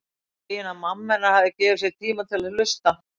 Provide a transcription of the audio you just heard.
Fegin að mamma hennar hefur gefið sér tíma til að hlusta.